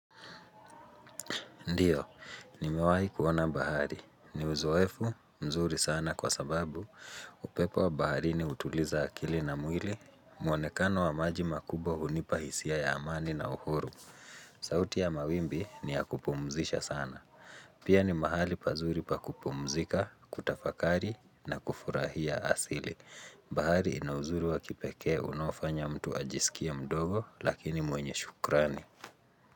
Ndiyo, ni mewahi kuona bahari. Ni uzoefu, mzuri sana kwa sababu, upepo wa bahari ni utuliza akili na mwili, muonekano wa maji makubwa hunipahisia ya amani na uhuru. Sauti ya mawimbi ni ya kupumzisha sana. Pia ni mahali pazuri pa kupumzika, kutafakari na kufurahia asili. Bahari inauzuri wa kipekee unaofanya mtu ajisikia mdogo lakini mwenye shukrani.